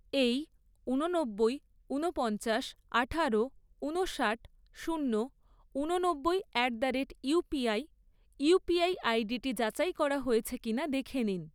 এই ঊননব্বই, ঊনপঞ্চাশ, আঠারো, ঊনষাট, শূন্য, ঊননব্বই at the rate UPI UPI আইডিটি যাচাই করা হয়েছে কিনা দেখে নিন।